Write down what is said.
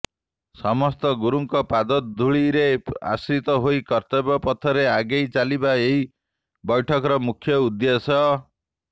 ସମସ୍ତ ଗୁରୁଙ୍କର ପାଦଧୂଳିରେ ଆଶ୍ରିତ ହୋଇ କର୍ତ୍ତବ୍ୟ ପଥରେ ଆଗେଇ ଚାଲିବା ଏହି ବୈଠକର ମୁଖ୍ୟ ଉଦ୍ଦେଶ୍ୟ